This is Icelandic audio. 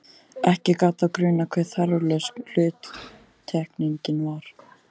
Ekki gat þá grunað hve þarflaus hluttekningin var!